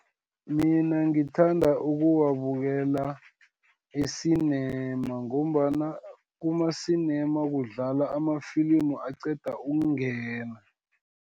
Mina ngithanda ukuwabukela, esinema, ngombana kumasinema kudlala amafilimu aqeda ukungena.